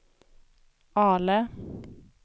Ale